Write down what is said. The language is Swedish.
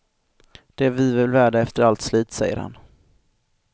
Det är vi väl värda efter allt slit, säger han.